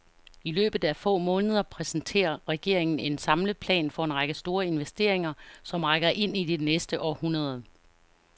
I løbet af få måneder præsenterer regeringen en samlet plan for en række store investeringer, som rækker ind i det næste århundrede.